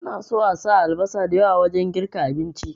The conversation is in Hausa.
Ina so asa albasa da yawa wajen girka abinci